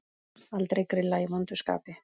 Aldrei grilla í vondu skapi.